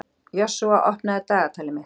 Joshua, opnaðu dagatalið mitt.